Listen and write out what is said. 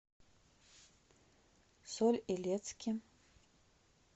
соль илецке